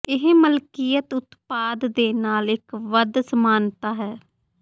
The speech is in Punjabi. ਇਹ ਮਲਕੀਅਤ ਉਤਪਾਦ ਦੇ ਨਾਲ ਇੱਕ ਵੱਧ ਸਮਾਨਤਾ ਹੈ